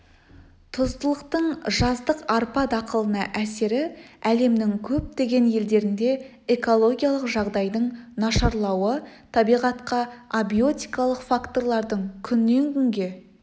тұздылықтың жаздық арпа дақылына әсері әлемнің көптеген елдерінде экологиялық жағдайдың нашарлауы табиғатқа абиотикалық факторлардың күннен күнге